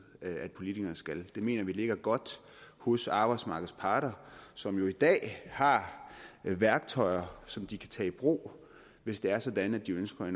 at politikerne skal det mener vi ligger godt hos arbejdsmarkedets parter som jo i dag har værktøjer som de kan tage i brug hvis det er sådan at de ønsker